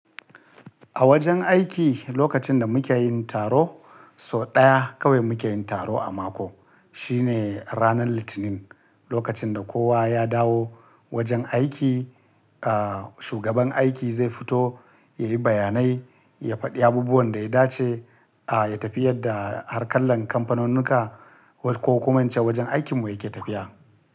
A wajen aiki lokacin da muke yin taro, so ɗaya kawai muke yin taro a mako. Shi ne ranar Litinin, lokacin da kowa ya dawo wajen aiki, ah, shugaban aiki zai fito ya yi bayanai, ya faɗi abubuwan da ya dace, ah, ya tafi yadda harkallan kamfanunnika ko kuma ince wajen aikinmu yake tafiya.